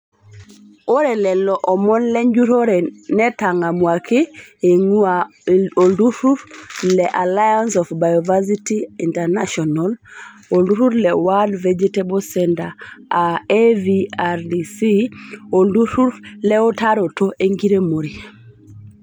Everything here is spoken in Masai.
Ore lelomon lenjurore netangamuaki eingua oltururi le Aliance of Bioversity International ,olturur le World vegetable Center aa (AVRDC) oolturur leutaroto enkiremore.